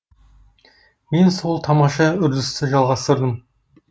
мен сол тамаша үрдісті жалғастырдым